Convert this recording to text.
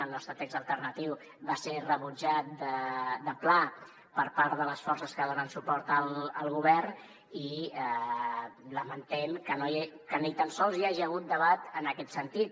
el nostre text alternatiu va ser rebutjat de pla per part de les forces que donen suport al govern i lamentem que ni tan sols hi hagi hagut debat en aquest sentit